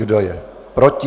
Kdo je proti?